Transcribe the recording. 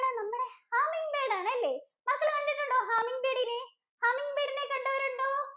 നമ്മുടെ Humming bird ആണല്ലേ? മക്കള് കണ്ടിട്ടുണ്ടോ Humming bird ഇനെ Humming bird ഇനെ കണ്ടവരുണ്ടോ? ഒണ്ടോ? കാരണം നമ്മുടെ